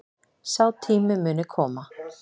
Sá tími muni koma